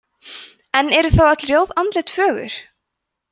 en eru þá öll rjóð andlit fögur